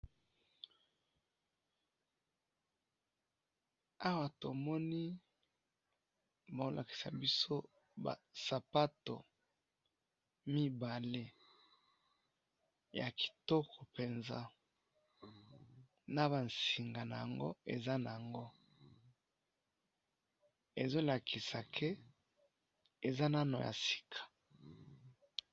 awa tomoni baho lakisa biso ba sapato mibale ya kitoko penza na ba singa nango ezo lakisa k eza ya sika .